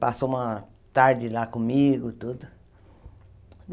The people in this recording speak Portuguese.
Passou uma tarde lá comigo tudo.